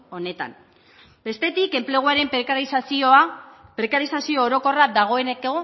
honetan bestetik enpleguaren prekarizazioa prekarizazio orokorra dagoeneko